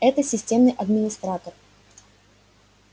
это системный администратор